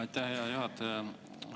Aitäh, hea juhataja!